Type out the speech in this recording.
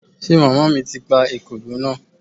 Ṣe màmá mi ti pa ekòló náà?